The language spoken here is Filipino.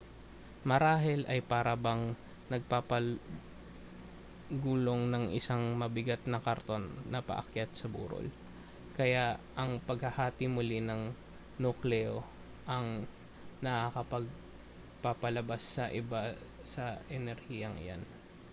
marahil ay para bang nagpapagulong ng isang mabigat na kariton na paakyat sa burol kaya ang paghahati muli ng nukleo ay nakapagpapalabas sa iba sa enerhiyang iyan